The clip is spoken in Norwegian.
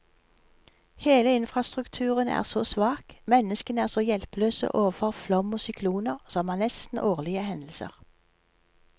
Hele infrastrukturen er så svak, menneskene er så hjelpeløse overfor flom og sykloner, som er nesten årlige hendelser.